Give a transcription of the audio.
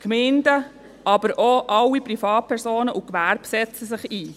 Die Gemeinden, aber auch alle Privatpersonen und das Gewerbe setzen sich ein.